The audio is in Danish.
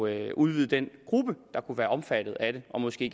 at udvide den gruppe der kunne være omfattet af det og måske